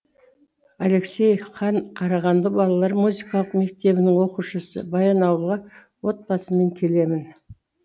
алексей кан қарағанды балалар музыкалық мектебінің оқушысы баянауылға отбасыммен келемін